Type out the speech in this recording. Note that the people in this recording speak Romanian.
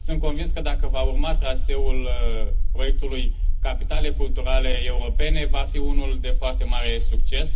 Sunt convins că, dacă va urma traseul proiectului Capitale culturale europene, va fi unul de foarte mare succes.